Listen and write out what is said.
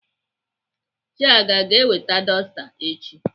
Chiaga aga eweta dọsta echi?